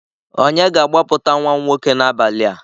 Onye ga-agbapụta nwa m nwoke n'abalị a?